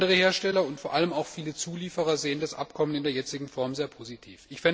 Andere Hersteller und vor allem auch viele Zulieferer sehen es in der jetzigen Form sehr positiv.